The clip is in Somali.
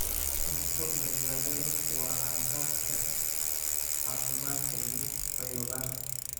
Cunto badbaado leh waa aasaaska caafimaadka iyo fayoobaanta.